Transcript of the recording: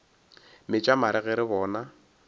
metša mare ge re bona